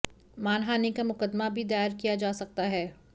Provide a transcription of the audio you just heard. मानहानि का मुक़दमा भी दायर किया जा सकता है